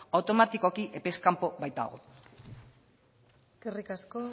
automatikoki epez kanpo baitago eskerrik asko